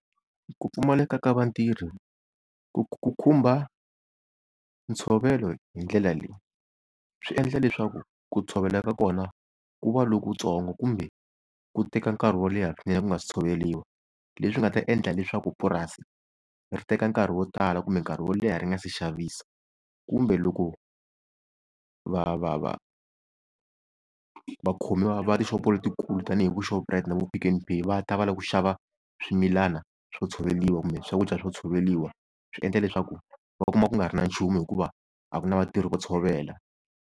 Ku pfumaleka ka vatirhi ku ku khumba ntshovelo hindlela leyi, swi endla leswaku ku tshovela ka kona ku va lokutsongo kumbe ku teka nkarhi wo leha swinene ku nga se tshoveriwa, leswi nga ta endla leswaku purasi ri teka nkarhi wo tala kumbe nkarhi wo leha ri nga se xavisa. Kumbe loko va va va vakhomi va tixopo letikulu tani hi va Shoprite na va Pick n Pay va ta va lava ku xava swimilana swo tshoveriwa kumbe swakudya swo tshoveriwa swi endla leswaku va kuma ku nga ri na nchumu hikuva a ku na vatirhi vo tshovela.